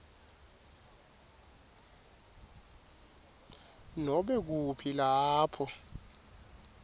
nobe kuphi lapho